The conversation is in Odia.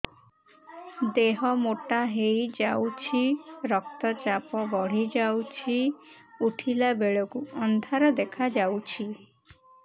ଦେହ ମୋଟା ହେଇଯାଉଛି ରକ୍ତ ଚାପ ବଢ଼ି ଯାଉଛି ଉଠିଲା ବେଳକୁ ଅନ୍ଧାର ଦେଖା ଯାଉଛି